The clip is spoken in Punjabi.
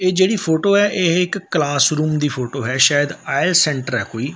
ਇਹ ਜਿਹੜੀ ਫੋਟੋ ਐ ਇਹ ਇੱਕ ਕਲਾਸਰੂਮ ਦੀ ਫੋਟੋ ਹੈ ਸ਼ਾਇਦ ਆ ਏ ਸੈਂਟਰ ਹੈ ਕੋਈ।